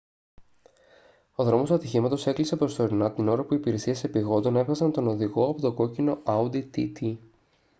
ο δρόμος του ατυχήματος έκλεισε προσωρινά την ώρα που οι υπηρεσίες επειγόντων έβγαζαν τον οδηγό από το κόκκινο audi tt